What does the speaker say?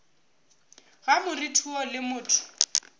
ga moriti woo le motho